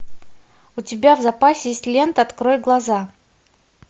у тебя в запасе есть лента открой глаза